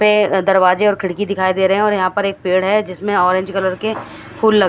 पे दरवाजे और खीडकी दिखाई दे रहे है और यह पर एक पेड़ है जिसमे ऑरेंज कलर के फूल लगे--